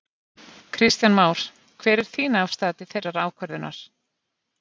Kristján Már: Hver er þín afstaða til þeirrar ákvörðunar?